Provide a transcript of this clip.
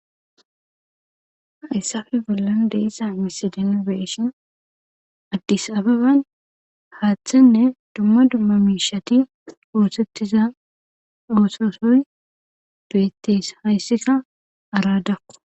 Hayssafe bollan de7iza misile nuni be7ishi addis ababan haathenne dumma dumma miishati oosettiza ooso soy beetees hayssika araadakko.